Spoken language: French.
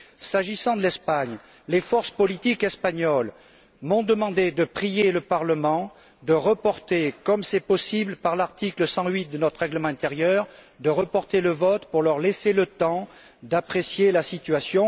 S'agissant de l'Espagne, les forces politiques espagnoles m'ont demandé de prier le Parlement de reporter le vote comme c'est possible en vertu de l'article 108 de notre règlement intérieur pour leur laisser le temps d'apprécier la situation.